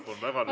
Vabandust!